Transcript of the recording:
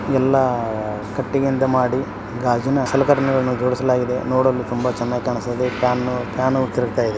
ಎಲ್ಲ ಕಟ್ಟಿಗಾಯಿಂದ ಮಾಡಿ ಗಾಜಿನ ಸಲಕರಣೆ ಗಳನ್ನೂ ಜೋಡಿಸಲಾ ಗಿದೆ ನೋಡಲು ತುಂಬಾ ಚೆನ್ನಾಗಿ ಕಾನಿಸ್ತಾಇದೆ. ಫ್ಯಾನು ತೀರಗತಾಇದೆ .